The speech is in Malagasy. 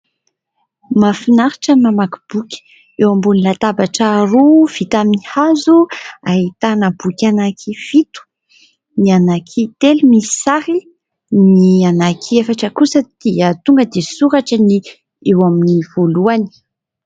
Mahafinaritra ny mamaky boky. Eo ambony latabatra roa vita amin'ny hazo ahitana boky anankifito ; ny anankitelo misy sary ; ny anankiefatra kosa dia tonga dia soratra ny eo amin'ny voalohany.